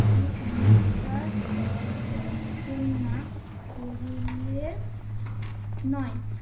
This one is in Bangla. কুসংস্কার সর্বর্জনা করিলে নয়।